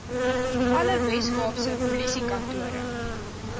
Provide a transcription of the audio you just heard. alle weskaapse polisiekantore